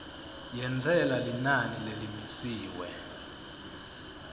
yentsela linani lelimisiwe